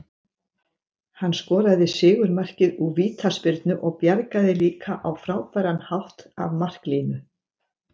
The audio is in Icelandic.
Hann skoraði sigurmarkið úr vítaspyrnu og bjargaði líka á frábæran hátt af marklínu.